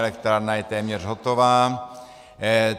Elektrárna je téměř hotová.